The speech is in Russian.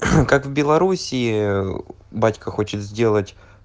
как в белоруссии батька хочет сделать